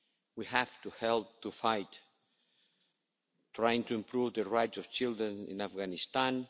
We have to help to fight, trying to improve the rights of children in Afghanistan.